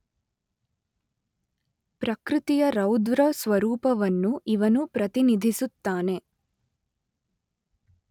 ಪ್ರಕೃತಿಯ ರೌದ್ರ ಸ್ವರೂಪವನ್ನು ಇವನು ಪ್ರತಿನಿಧಿಸುತ್ತಾನೆ.